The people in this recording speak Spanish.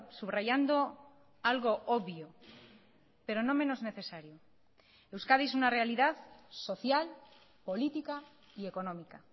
subrayando algo obvio pero no menos necesario euskadi es una realidad social política y económica